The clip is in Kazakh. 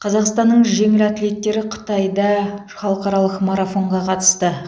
қазақстанның жеңіл атлеттері қытайда халықаралық марафонға қатысты